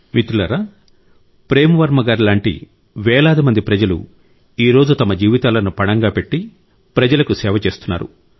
మిత్రులారా ప్రేమ్ వర్మ గారిలాంటి వేలాది మంది ప్రజలు ఈ రోజు తమ జీవితాలను పణంగా పెట్టి ప్రజలకు సేవ చేస్తున్నారు